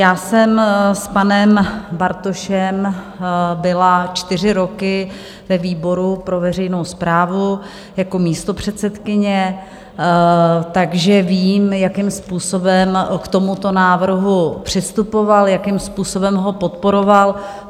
Já jsem s panem Bartošem byla čtyři roky ve výboru pro veřejnou správu jako místopředsedkyně, takže vím, jakým způsobem k tomuto návrhu přistupoval, jakým způsobem ho podporoval.